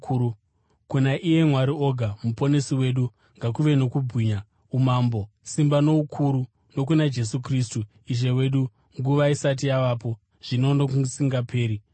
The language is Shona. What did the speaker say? kuna iye Mwari oga muponesi wedu, ngakuve nokubwinya, umambo, simba noukuru, nokuna Jesu Kristu Ishe wedu, nguva isati yavapo, zvino nokusingaperi! Ameni.